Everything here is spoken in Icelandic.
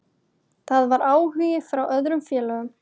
Það var áhugi frá öðrum félögum.